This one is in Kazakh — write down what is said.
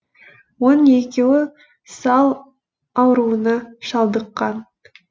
оның екеуі сал ауруына шалдыққан